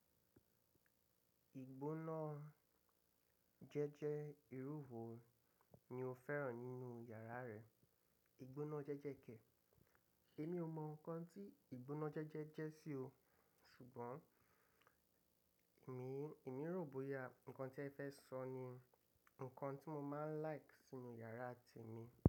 Ìgbóná jẹ́jẹ́ ìrú wo ni o fẹ́ràn nínú yàrá rẹ? Ìgbóná jẹ́jẹ́ kẹ̀. Èmi ò mọ nǹkan tí ìgbóná jẹ́jẹ́ jẹ́ sí o, ṣùgbọ́n èmi, èmi rò bóyá nǹkan tí ẹ fẹ́ sọ ni nǹkan tí mọ máa ń like sínú yàrá témi.